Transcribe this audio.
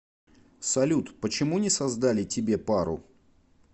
салют почему не создали тебе пару